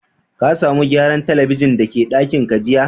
Ka samu gyaran telibijin da ke dakin ka jiya?